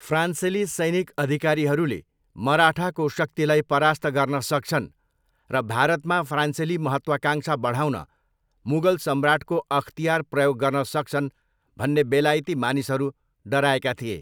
फ्रान्सेली सैनिक अधिकारीहरूले मराठाको शक्तिलाई परास्त गर्न सक्छन् र भारतमा फ्रान्सेली महत्त्वाकांक्षा बढाउन मुगल सम्राटको अख्तियार प्रयोग गर्न सक्छन् भन्ने बेलायती मानिसहरू डराएका थिए।